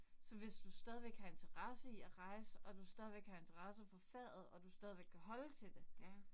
Så hvis du stadigvæk har interesse i at rejse, og du stadigvæk har interesse for faget, og du stadigvæk kan holde til det